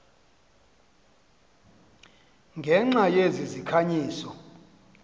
ngenxa yezi zikhanyiso